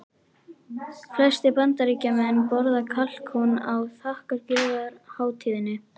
Flestir Bandaríkjamenn borða kalkún á þakkargjörðarhátíðinni.